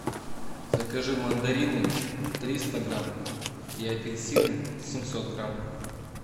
закажи мандарины триста грамм и апельсины семьсот грамм